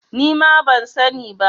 Ni ma ban sa ni ba